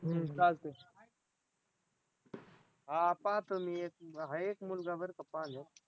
चालतंय हां पाहतो मी एक आहे एक मुलगा बरं का पाहण्यात